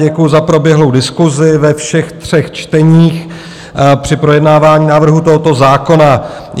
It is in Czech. Děkuji za proběhlou diskusi ve všech třech čteních při projednávání návrhu tohoto zákona.